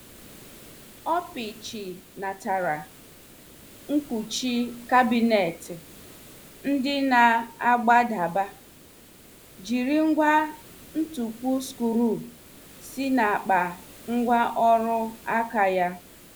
Ọ pichinatara nkwuchi kabinet ndị na- agbadaba, jiri ngwa ntupu skru si n' akpa ngwa ọrụ aka ya.